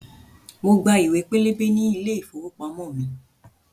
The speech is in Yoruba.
Mo gba ìwé pélébé ní ilé ìfowópamọ́ mi